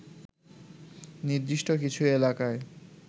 নির্দিষ্ট কিছু এলাকায়